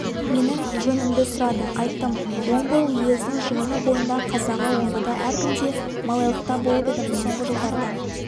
менің жөнімді сұрады айттым омбы уезінің жиыны бойындағы қазағы омбыда әркімде малайлықта болып едім соңғы жылдарда